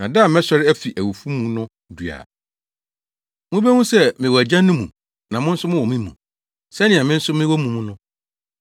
Na da a mɛsɔre afi awufo mu no du a, mubehu sɛ mewɔ mʼAgya no mu na mo nso mowɔ me mu, sɛnea me nso mewɔ mo mu no.